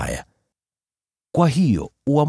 ambayo yamejulikana tangu zamani.